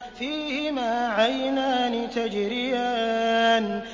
فِيهِمَا عَيْنَانِ تَجْرِيَانِ